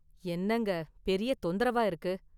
என்னங்க பெரிய தொந்தரவா இருக்கு.